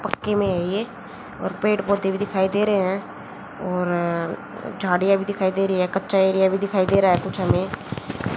पक्की में है ए और पेड़ पौधे दिखाई दे रहे हैं और झाड़ियां भी दिखाई दे रही है कच्चा एरिया भी दिखाई दे रहा है कुछ हमें--